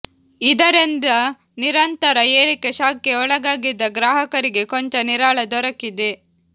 ಇದರಿಂದ ನಿರಂತರ ಏರಿಕೆ ಶಾಕ್ ಗೆ ಒಳಗಾಗಿದ್ದ ಗ್ರಾಹಕರಿಗೆ ಕೊಂಚ ನಿರಾಳ ದೊರಕಿದೆ